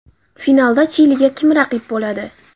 Finalda Chiliga kim raqib bo‘ladi?